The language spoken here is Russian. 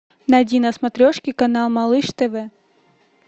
найди на смотрешке канал малыш тв